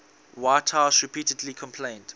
whitehouse repeatedly complained